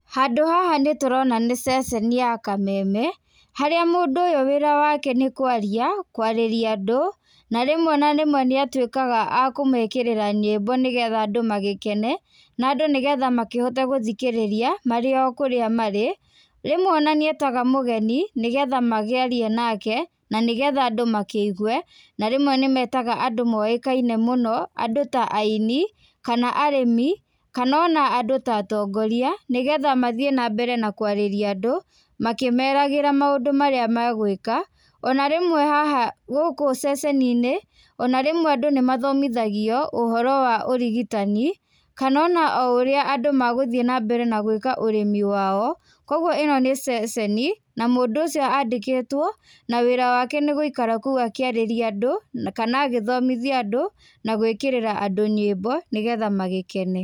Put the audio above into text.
Handũ haha nĩ tũrona nĩ ceceni ya kameme, harĩa mũndũ ũyũ wĩra wake nĩ kwaria, kwarĩria andũ, na rĩmwe na rĩmwe nĩ atuĩkaga a kũmekĩrĩra nyĩmbo nĩ getha andũ magĩkene, na andũ nĩ getha makĩhote gũthikĩrĩria marĩ o kũrĩa marĩ, rĩmwe ona nĩ etaga mũgeni nĩ getha magĩarie nake, na nĩ getha andũ makĩigue, na rĩmwe nĩ metaga andũ moĩkaine mũno, andũ ta aini kana arĩmi, kana ona andũ ta atongoria, nĩ getha mathiĩ na mbere na kũarĩria andũ, makĩmeragĩra maũndũ marĩa magwĩka, ona rĩmwe haha gũkũ ceceni-inĩ, ona rĩmwe andũ nĩ mathomithagio, ũhoro wa ũrigitani, kana ona o ũrĩa andũ magũthiĩ na mbere na gwĩka ũrĩmi wao, kũguo ĩno nĩ ceceni na mũndũ ũcio andĩkĩtwo, na wĩra wake nĩ gũikara kũu akĩarĩria andũ na kana agĩthomithia andũ na gwĩkĩrĩra andũ nyĩmbo nĩ getha magĩkene.